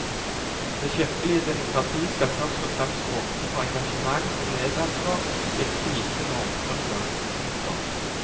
Det kirkelige demokrati skal først og fremst åpne for engasjement og medansvar innen det gitte normgrunnlag. punktum